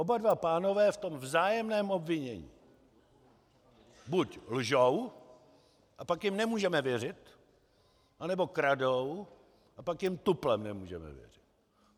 Oba dva pánové v tom vzájemném obvinění buď lžou, a pak jim nemůžeme věřit, anebo kradou, a pak jim tuplem nemůžeme věřit.